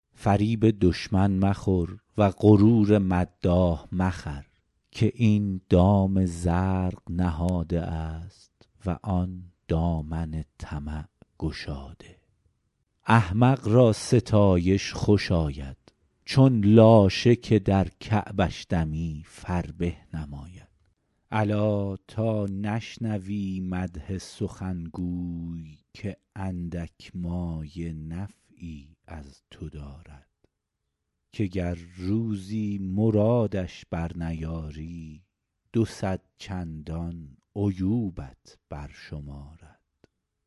فریب دشمن مخور و غرور مداح مخر که این دام زرق نهاده است و آن دامن طمع گشاده احمق را ستایش خوش آید چون لاشه که در کعبش دمی فربه نماید الا تا نشنوی مدح سخنگوی که اندک مایه نفعی از تو دارد که گر روزی مرادش بر نیاری دو صد چندان عیوبت بر شمارد